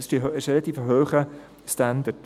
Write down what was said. Das ist ein relativ hoher Standard.